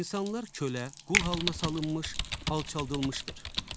İnsanlar kölə, qul halına salınmış, alçaldılmışdır.